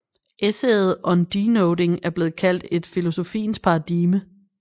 Essayet On Denoting er blevet kaldt et filosofiens paradigme